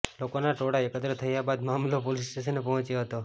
લોકોના ટોળા એકત્ર થયા બાદ મામલો પોલીસ સ્ટેશને પહોંચ્યો હતો